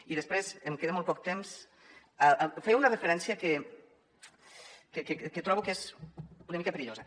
i després em queda molt poc temps feia una referència que trobo que és una mica perillosa